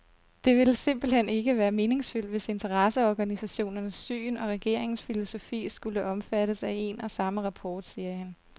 Det ville simpelt hen ikke være meningsfyldt, hvis interesseorganisationernes syn og regeringens filosofi skulle omfattes af en og samme rapport, siger han.